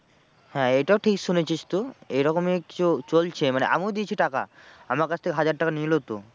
হ্যাঁ এইটাও ঠিক শুনেছিস তুই এরকমই কিছু চলছে মানে আমিও দিয়েছি টাকা। আমার কাছ থেকে হাজার টাকা নিলো তো।